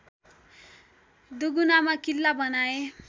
दुगुनामा किल्ला बनाए